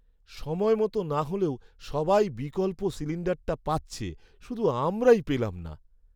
সময়মতো না হলেও সবাই বিকল্প সিলিণ্ডারটা পাচ্ছে, শুধু আমরাই পেলাম না।